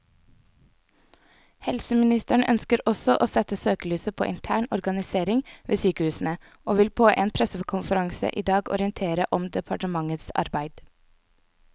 Helseministeren ønsker også å sette søkelyset på intern organisering ved sykehusene, og vil på en pressekonferanse i dag orientere om departementets arbeid.